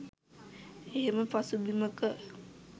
එහෙම පසුබිමක